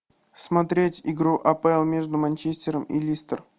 смотреть игру апл между манчестером и листер